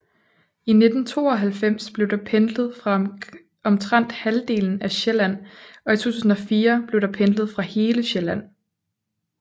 I 1992 blev der pendlet fra omtrent halvdelen af Sjælland og i 2004 blev der pendlet fra hele Sjælland